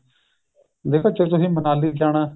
ਦੇਖੋ ਜ਼ੇ ਤੁਸੀਂ ਮਨਾਲੀ ਜਾਣਾ